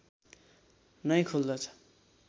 नै खुल्दछ